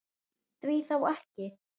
Því þá ekki?